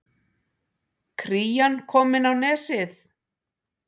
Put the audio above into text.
Krían komin á Nesið